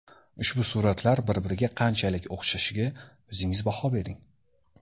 Ushbu suratlar bir-biriga qanchalik o‘xshashiga o‘zingiz baho bering.